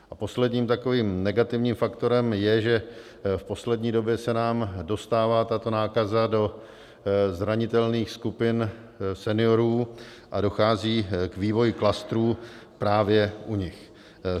A posledním takovým negativním faktorem je, že v poslední době se nám dostává tato nákaza do zranitelných skupin seniorů a dochází k vývoji klastrů právě u nich.